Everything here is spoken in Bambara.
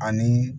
Ani